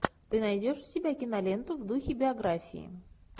ты найдешь у себя киноленту в духе биографии